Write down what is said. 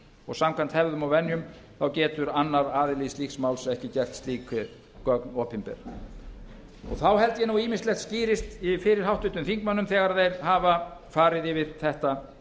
og samkvæmt hefðum og venjum getur annar aðili slíks máls ekki gert slík gögn opinber þá held ég að ýmislegt skýrist fyrir háttvirtum þingmönnum þegar þeir hafa farið yfir þetta